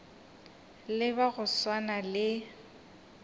le ba go swana le